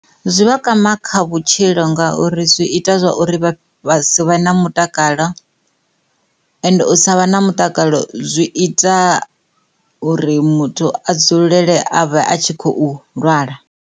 Zwi vha kwama kha vhutshilo ngauri zwi ita zwa uri vha si vhe na mutakalo ende u sa vha na mutakalo zwi ita uri muthu a dzulele avhe a tshi khou lwala.